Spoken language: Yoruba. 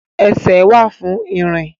Ẹsẹ̀ wà fún ìrìn